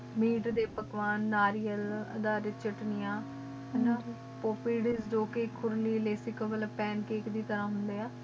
ਕ ਖੁਰਲੀ ਲੇਸ੍ਸਿਕ ਕਵਲ ਪੰਕੈਕੇ ਦੀ ਤਰਹ ਹਨ ਡੀਯ੍ਯ ਆ